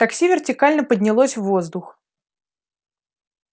такси вертикально поднялось в воздух